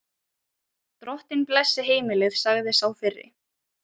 Drottinn blessi heimilið, sagði sá fyrri.